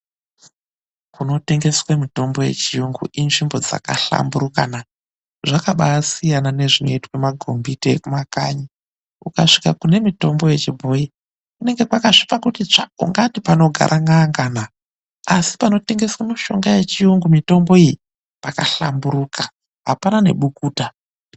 Kunotengeswe mitombo ye chiyungu inzvimbo dzakahlamburuka na. Zvakabaasiyana ne zvinoitwa magombiti ekuma kanyi. Ukasvika kune mitombo yechibhoyi kunenge kwakasvipa kuti tsvaa, ungati panogara n'anga na. Asi panotengeswa mitombo yechiyungu mitombo iyi, pakahlamburuka apana nebukuta.